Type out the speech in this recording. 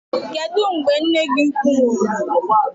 Kedụ mgbe nne gị ukwu nwụrụ?